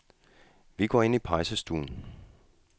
Vi går ind i pejsestuen.